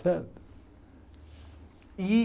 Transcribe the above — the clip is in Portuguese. Certo? E